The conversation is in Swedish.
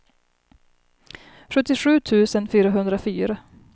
sjuttiosju tusen fyrahundrafyra